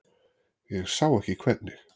Ég sá ekki hvernig.